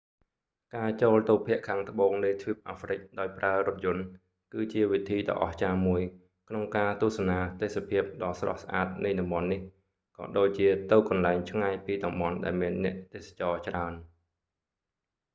ការចូលទៅភាគខាងត្បូងនៃទ្វីបអាហ្វ្រិកដោយប្រើរថយន្ត គឺជាវិធីដ៏អស្ចារ្យមួយ ក្នុងការទស្សនាទេសភាពដ៏ស្រស់ស្អាតនៃតំបន់នេះ ក៏ដូចជាទៅកន្លែងឆ្ងាយពីតំបន់ដែលមានអ្នកទេសចរច្រើន